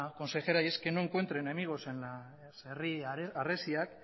consejera y es que no encuentre enemigos en las herri harresiak